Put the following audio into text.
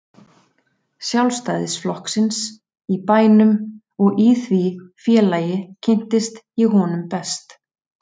Sjálfstæðisflokksins í bænum og í því félagi kynntist ég honum best.